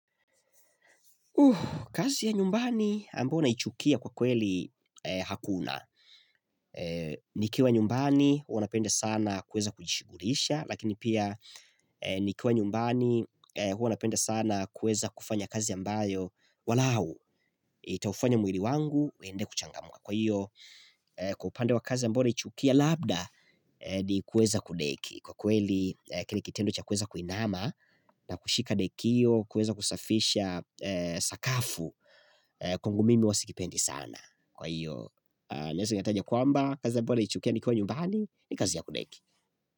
Kazi ya nyumbani ambayo naichukia kwa kweli hakuna. Nikiwa nyumbani huwa napenda sana kuweza kujishughulisha lakini pia nikiwa nyumbani huwa napenda sana kuweza kufanya kazi ambayo walau itaufanya mwili wangu uende kuchangamka. Kwa hiyo kwa upande wa kazi ambayo naichukia labda ni kuweza kudeki Kwa kweli kile kitendo cha kuweza kuinama na kushika dekio kuweza kusafisha sakafu kwangu mimi huwa sikipendi sana Kwa hiyo naweza nikataja kwamba kazi ambayo naichukia nikiwa nyumbani ni kazi ya kudeki.